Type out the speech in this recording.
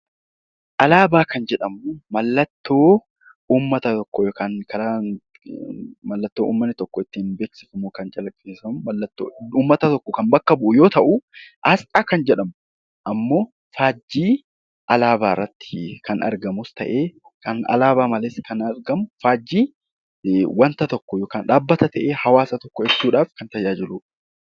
Alaabaa kan jedhamu mallattoo uummata tokkoo yookiin biyya tokko kan bakka bu'u yoo ta'u, asxaa kan jedhamu immoo faajjii alaabaa irratti kan argamus ta'ee alaabaa malees kan argamu faajjii dhaabbata tokko yookiin faajjii tokko ibsuudhaaf kan tajaajiludha.